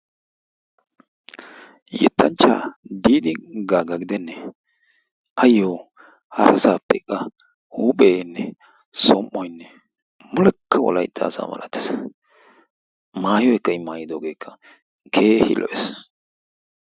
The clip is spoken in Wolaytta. Yettanchchaa Diidi Gaaga gidennee? Ayyo harasaappe qa huupheenne som"oyinne mulekka wolaytt asa malates. Maayoykka I maayidoogeekka keehi lo"es.